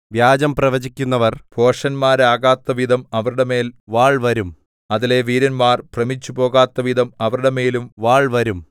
വ്യാജം പ്രവചിക്കുന്നവർ ഭോഷന്മാരാകത്തക്കവിധം അവരുടെ മേൽ വാൾവരും അതിലെ വീരന്മാർ ഭ്രമിച്ചുപോകത്തക്കവിധം അവരുടെമേലും വാൾവരും